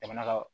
Jamana ka